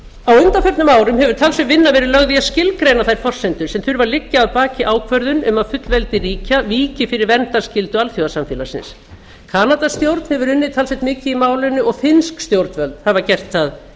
á undanförnum árum hefur talsverð vinna verið lögð í að skilgreina þær forsendur sem þurfa að liggja að baki ákvörðun um að fullveldi ríkja víki fyrir verndarskyldu alþjóðasamfélagsins kanadastjórn hefur unnið talsvert mikið í málinu og finnsk stjórnvöld hafa gert það